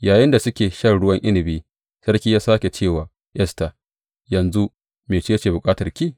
Yayinda suke shan ruwan inabi, sarki ya sāke ce wa Esta, Yanzu, mece ce bukatarki?